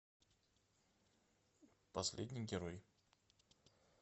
последний герой